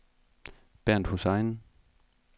Bernt Hussein